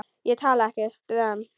Ég talaði ekkert við hann.